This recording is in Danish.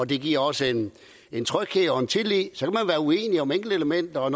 det giver også en tryghed og en tillid så kan uenig om enkeltelementer og